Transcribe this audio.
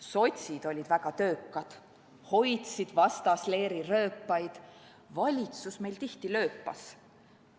Sotsid olid väga töökad, hoidsid vastasleeri rööpaid, valitsus meil tihti lööpas.